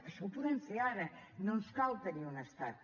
això ho podem fer ara no ens cal tenir un estat